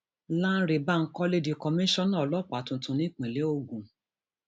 lánrẹ bankole di kọmíṣánná ọlọpàá tuntun nípínlẹ ogun